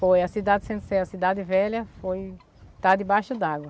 Foi, a cidade de Centro-Sé, a cidade velha foi... Está debaixo d'água.